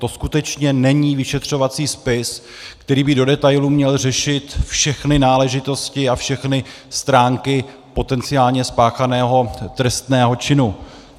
To skutečně není vyšetřovací spis, který by do detailu měl řešit všechny náležitosti a všechny stránky potenciálně spáchaného trestného činu.